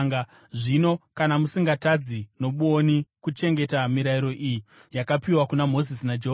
“ ‘Zvino kana musingatadzi nobwoni kuchengeta mirayiro iyi yakapiwa kuna Mozisi naJehovha,